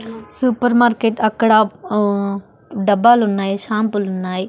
Super market అక్కడ ఆ డబ్బాలున్నాయి షాంపులున్నాయి .